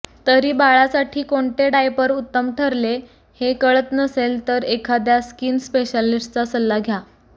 तरी बाळासाठी कोणते डायपर उत्तम ठरले हे कळत नसेल तर एखाद्या स्कीन स्पेशालिस्टचा सल्ला घ्या